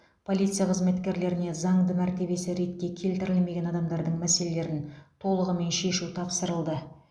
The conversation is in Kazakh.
полиция қызметкерлеріне заңды мәртебесі ретке келтірілмеген адамдардың мәселелерін толығымен шешу тапсырылды